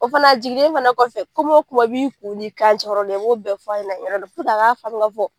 O fana a jigilen fana kɔfɛ, kuma la kuma b'i kun ni kan cɛ, i bɛ o bɛɛ f'a ɲɛna ni yɔrɔ in na u k'a faamu k'a fɔ.